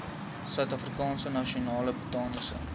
suidafrikaanse nasionale botaniese